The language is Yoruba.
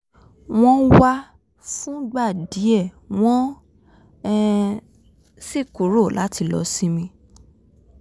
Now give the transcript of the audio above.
wọ́n wá fúngbà díẹ̀ wọ́n um sì kúrò láti lọ sinmi